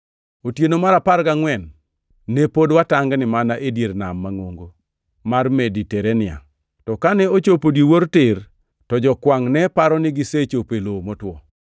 Otieno mar apar gangʼwen ne pod watangni mana e dier Nam mangʼongo mar Mediterania. + 27:27 Namni bende ongʼere gi nying mar Adriatik. To kane ochopo odiwuor tir, to jokwangʼ ne paro ni gisechopo e lowo motwo.